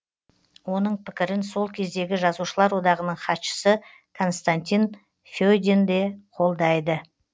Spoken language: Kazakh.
оның пікірін сол кездегі жазушылар одағының хатшысы константин федин де қолдайды